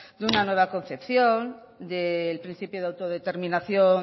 de una nueva concepción del principio de autodeterminación